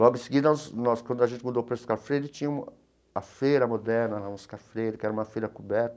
Logo em seguida nós, quando a gente mudou para Oscar Freire, tinha a feira moderna, na Oscar Freire, que era uma feira coberta.